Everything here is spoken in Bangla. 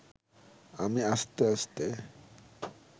আমি আস্তে আস্তে